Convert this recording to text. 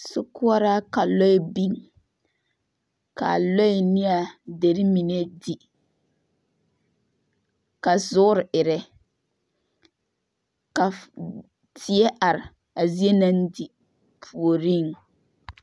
sokoɔraa ka lɔɛ biŋ, ka lɔɛ ne a deri mine di ka zoore erɛ ka fff die are a zie naŋ di puoriŋ